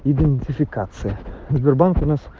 идентификация сбербанк у нас